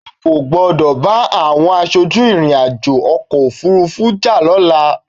O kò gbọdọ̀ bá àwọm aṣojú ìrìn-àjò ọkọ̀-òfurufú jà lọ́la!